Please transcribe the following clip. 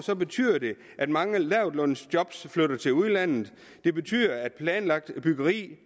betyder det at mange lavtlønsjob flytter til udlandet det betyder at planlagt byggeri